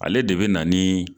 Ale de bɛ na ni